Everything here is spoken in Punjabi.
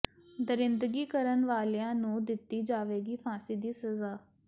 ਦਰਿੰਦਗੀ ਕਰਨ ਵਾਲਿਆਂ ਨੂੰ ਦਿੱਤੀ ਜਾਵੇਗੀ ਫਾਂਸੀ ਦੀ ਸਜ਼ਾ